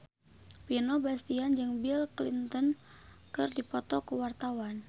Vino Bastian jeung Bill Clinton keur dipoto ku wartawan